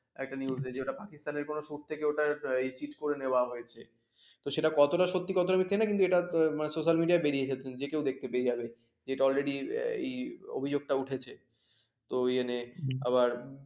একটা news আছে ওটা পাকিস্তানের কোন সুর থেকে ওঠা cheat করে নেওয়া হয়েছে। তো সেটা কতটা সত্যি কতটা মিথ্যে সেটা জানি না কিন্তু এটা social media বেরিয়েছে যে কেউ দেখতে পেয়ে যাবে যেটা already ইয়ে এই অভিযোগটা উঠেছে তো ইয়ে নে আবার